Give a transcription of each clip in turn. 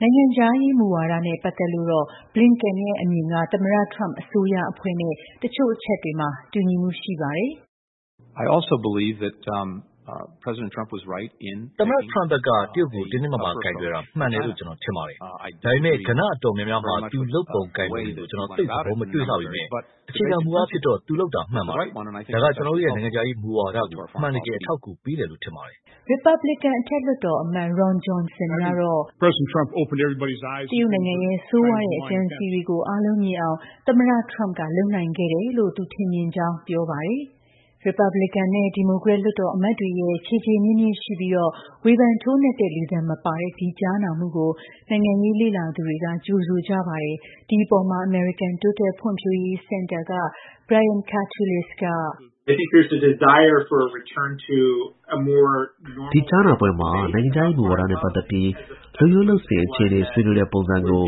နိုင်ငံခြားရေးမူဝါဒနဲ့ ပတ်သက်လို့တော့ Blinken ရဲ့ အမြင်က သမ္မတ Trump အစိုးရအဖွဲ့နဲ့ တချို့အချက်တွေမှာ တူညီမှုရှိပါတယ်။ "သမ္မတ Trump ဘက်က တရုတ်ကို တင်းတင်းမာမာကိုင်တွယ်တာ မှန်တယ်လို့ ကျနော်ထင်တယ်။ ဒါပေမဲ့ ကဏ္ဍအတော်များများမှာ သူလုပ်ပုံကိုင်ပုံတွေကို ကျနော် သိပ်သဘောမတွေ့လှပေမဲ့ အခြေခံမူအားဖြင့်တော့ သူလုပ်တာမှန်ပါတယ်။ ဒါက ကျနော်တို့ရဲ့ နိုင်ငံခြားရေးမူဝါဒကို အမှန်တကယ်အထောက်အကူပေးတယ်လို့ ထင်ပါတယ်။" ရီပတ်ဗလစ်ကန် အထက်လွှတ်တော်အမတ် Ron Johnson ကလည်း အခုလို ပြောပါတယ်။ "တရုတ်နိုင်ငံရဲ့ ဆိုးရွားတဲ့ အကြံအစည်တွေကို အားလုံးမြင်အောင် သမ္မတ Trump လုပ်နိုင်ခဲ့တယ်လို့ ကျနော် ထင်ပါတယ်။" ရီပတ်ဗလစ်ကန်နဲ့ ဒီမိုကရက် လွှတ်တော်အမတ်တွေရဲ့ ခြေခြေမြစ်မြစ် ရှိပြီး ဝေဖန်ထိုးနှက်တဲ့ လေသံမပါတဲ့ ဒီကြားနာမှုကို နိုင်ငံရေးလေ့လာသူတွေက ကြိုဆိုကြပါတယ်။ ဒီအပေါ် အမေရိကန် တိုးတက်ဖွံ့ဖြိုးရေးစင်တာ က Brian Katulis က "ဒီကြားနာပွဲမှာ နိုင်ငံခြားရေးမူဝါဒနဲ့ ပတ်သက်ပြီး လုပ်ရိုးလုပ်စဉ် အခြေအတင်ဆွေးနွေးတဲ့ ပုံစံကို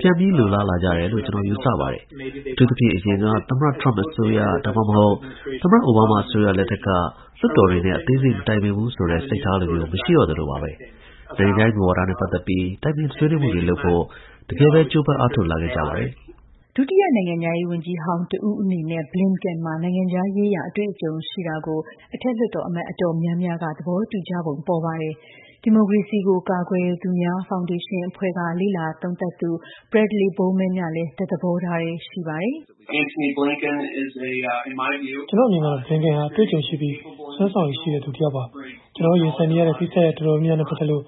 ပြန်ပြီး လိုလားကြတယ်လို့ ကျနော် ယူဆပါတယ်။ အထူးသဖြင့် အရင်က သမ္မတ Trump အစိုးရဖြစ်ဖြစ်၊ Obama အစိုးရဖြစ်ဖြစ် လွှတ်တော်နဲ့ အသေးစိတ်မတိုင်ပင်လိုတဲ့ စိတ်ထားမျိုး မရှိတော့သလိုပါဘဲ။ နိုင်ငံခြားရေးမူဝါဒနဲ့ ပတ်သက်လို့ တိုင်ပင် ဆွေးနွေးမှုတွေလုပ်ဖို့ တကယ်ပဲ ကြိုးပမ်းအားထုတ်ခဲ့ကြပါတယ်။" ဒုတိယ နိုင်ငံခြားရေး ဝန်ကြီးဟောင်းတဦးအနေနဲ့ Blinken မှာ နိုင်ငံခြားရေးရာ အတွေ့အကြုံရှိတာကို အထက်လွှတ်တော် အမတ်အတော်များများ သဘောတူကြပုံပေါ်ပါတယ်။ ဒီမိုကရေစီကို ကာကွယ်သူများဖောင်ဒေးရှင်းအဖွဲ့က လေ့လာသုံးသပ်သူ Bradley Bowman ကည်း တသဘောထားထဲရှိပါတယ်။ "ကျနော့် အမြင်ကတော့ Blinken ဟာ အတွေ့အကြုံရှိပြီး စွမ်းဆောင်ရည်ရှိတဲ့ သူတယောက်ပါ။ ကျနော်တို့ရင်ဆိုင်နေရတဲ့ ကိစ္စရပ် တော်တော်များများနဲ့ ပတ်သက်လို့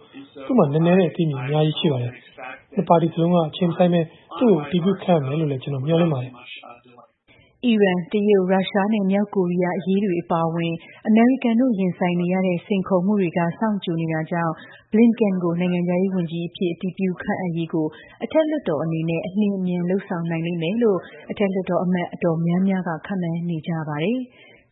သူ့မှာ နက်နဲတဲ့အသိအမြင်အများကြီး ရှိပါတယ်။ နှစ်ပါတီစလုံးက အချိန်မဆိုင်းဘဲ သူ့ကို အတည်ပြုခန့်အပ်မယ်လို့ ကျနော်မျှော်လင့်ပါတယ်။" အီရန်၊ တရုတ်၊ ရုရှားနဲ့ မြောက်ကိုရီးယားအရေးတွေအပါအဝင် အမေရိကန်တို့ ရင်ဆိုင်နေရတဲ့ စိန်ခေါ်မှုတွေက စောင့်ကြိုနေတာကြောင့် Blinken ကို နိုင်ငံခြားရေး ဝန်ကြီးအဖြစ်အတည်ပြုခန့်အပ်ရေးကို အထက်လွှတ်တော်အနေနဲ့ အလျင်အမြန် လုပ်ဆောင်နိုင်လိမ့်မယ်လို့ အထက်လွှတ်တော် အမတ်အတော်များများကလည်း ခန့်မှန်းနေကြပါတယ်။